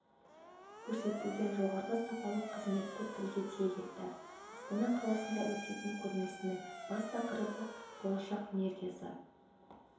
көрсетілетін жоғары сапалы қызметті тілге тиек етті астана қаласында өтетін көрмесінің бас тақырыбы болашақ энергиясы